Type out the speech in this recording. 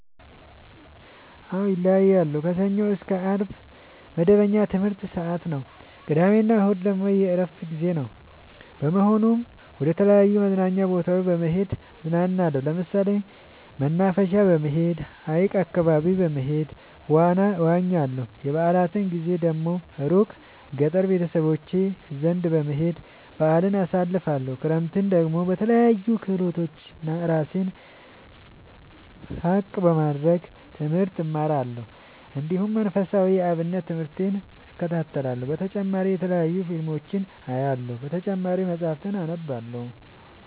አዎ ይለያያለሉ። ከሰኞ እስከ አርብ መደበኛ የትምህርት ሰዓቴ ነው። ቅዳሜ እና እሁድ ግን የእረፍት ጊዜ በመሆኑ መደተለያዩ መዝናኛ ቦታዎች በመሄድ እዝናናለሁ። ለምሳሌ መናፈሻ በመሄድ። ሀይቅ አካባቢ በመሄድ ዋና እዋኛለሁ። የበአላት ጊዜ ደግሞ እሩቅ ገጠር ቤተሰቦቼ ዘንዳ በመሄድ በአልን አሳልፍለሁ። ክረምትን ደግሞ በለያዩ ክህሎቶች እራሴን ብቀሐ ለማድረግ ትምህርት እማራለሁ። እንዲሁ መንፈሳዊ የአብነት ትምህርቴን እከታተላለሁ። በተጨማሪ የተለያዩ ፊልሞችን አያለሁ። በተጨማሪም መፀሀፍትን አነባለሁ።